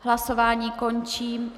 Hlasování končím.